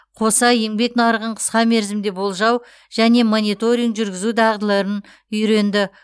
қоса еңбек нарығын қысқа мерзімде болжау және мониторинг жүргізу дағдыларын үйренді